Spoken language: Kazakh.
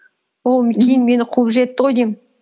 ол кейін мені қуып жетті ғой деймін